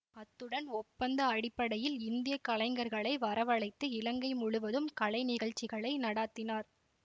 அத்துடன் ஒப்பந்த அடிப்படையில் இந்திய கலைஞர்களை வரவழைத்து இலங்கை முழுவதும் கலை நிகழ்ச்சிகளை நடாத்தினார்